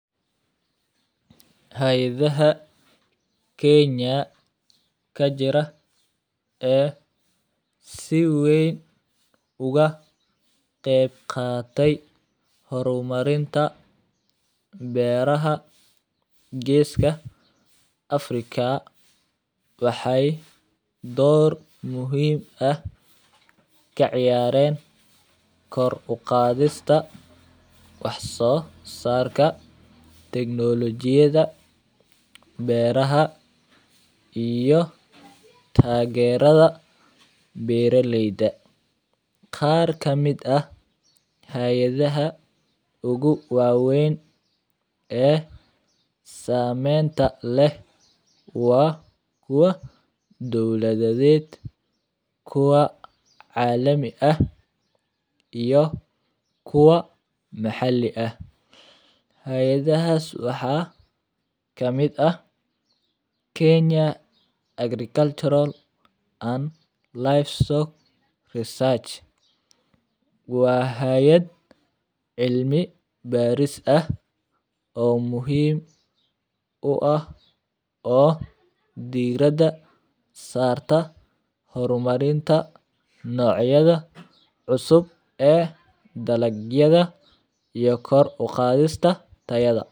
Hayadhaha kenya kajira ee si weyn uga qeeb qate hormarinta beeraha geska africa waxee dor muhiim ah ka ciyaren kor uqadhista wax sosarka tiknologiyaadha beeraha iyo tageraada beera leyda, qaar kamiid ah beera leyda ugu wawen ee samenta leh waa kuwa diwlaadaded kuwa calami ah iyo kuwa maxali ah, hayadahas waxaa kamiid ah kenya agricultural and livestock research waa hayad cilmi baris ah oo muhiim u ah oo diraada sarta hormarinta nocyaada cusub ee dalagyaada iyo kor uqadhista tayaada.